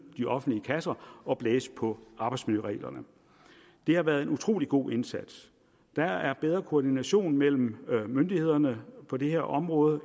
de offentlige kasser og blæse på arbejdsmiljøreglerne det har været en utrolig god indsats der er bedre koordination mellem myndighederne på det her område